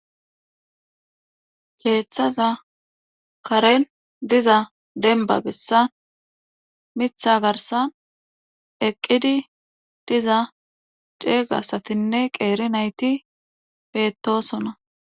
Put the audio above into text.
Keeththaza karen diza denba bessan mitha garsan eqqidi diza ceegasatinne qeeri nayti bettosona.